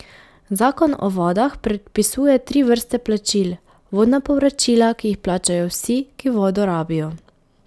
Zakon o vodah predpisuje tri vrste plačil, vodna povračila, ki jih plačajo vsi, ki vodo rabijo.